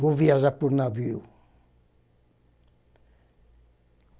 Vou viajar por navio.